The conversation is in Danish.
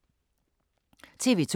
TV 2